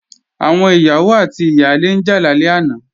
Àwọn ìyàwó àti ìyálé ń jà lálẹ́ àná